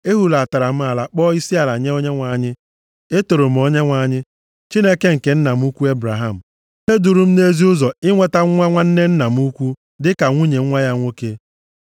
Ehulatara m ala kpọọ isiala nye Onyenwe anyị. Etoro m Onyenwe anyị, Chineke nke nna m ukwu Ebraham, onye duru m nʼezi ụzọ inweta nwa nwanne nna m ukwu dịka nwunye nwa ya nwoke.